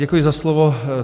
Děkuji za slovo.